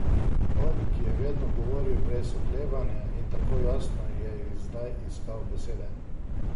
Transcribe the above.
On, ki je vedno govoril brez oklevanja in tako jasno, je zdaj iskal besede.